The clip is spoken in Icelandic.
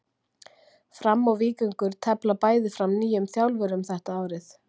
Fram og Víkingur tefla bæði fram nýjum þjálfurum þetta árið.